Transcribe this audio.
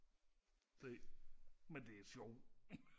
det men det sjov